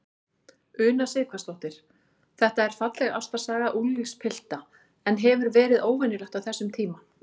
Una Sighvatsdóttir: Þetta er falleg ástarsaga unglingspilta, en hefur verið óvenjulegt á þessum tíma?